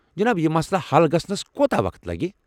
جناب، یہِ مسلہٕ حل گژھنس کوتاہ وقت لگہِ ؟